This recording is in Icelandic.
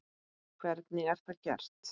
Hvernig er það gert?